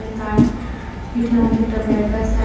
তার পিঠের মধ্যে একটা ব্যাগ আসে আর--